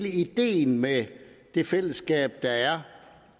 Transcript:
af ideen med det fællesskab der er